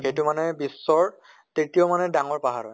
সেইতো মানে বিশ্বৰ তৃতীয় মানে ডাঙৰ পাহাৰ হয়।